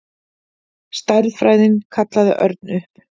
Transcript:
Stærðfræðin kallaði Örn upp.